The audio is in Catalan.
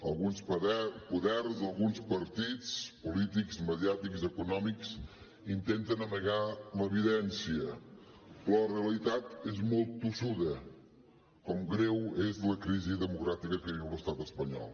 alguns poders d’alguns partits polítics mediàtics econòmics intenten amagar l’evidència però la realitat és molt tossuda com greu és la crisi democràtica que viu l’estat espanyol